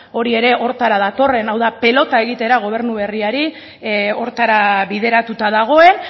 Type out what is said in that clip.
hori ere horretara datorren hau da pelota egitera gobernu berriari horretara bideratuta dagoen